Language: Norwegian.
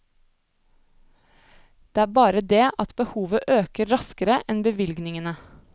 Det er bare det at behovet øker raskere enn bevilgningene.